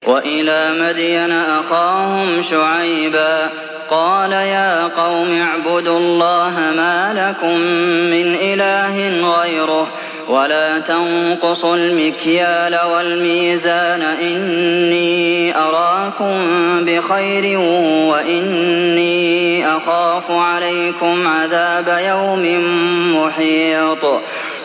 ۞ وَإِلَىٰ مَدْيَنَ أَخَاهُمْ شُعَيْبًا ۚ قَالَ يَا قَوْمِ اعْبُدُوا اللَّهَ مَا لَكُم مِّنْ إِلَٰهٍ غَيْرُهُ ۖ وَلَا تَنقُصُوا الْمِكْيَالَ وَالْمِيزَانَ ۚ إِنِّي أَرَاكُم بِخَيْرٍ وَإِنِّي أَخَافُ عَلَيْكُمْ عَذَابَ يَوْمٍ مُّحِيطٍ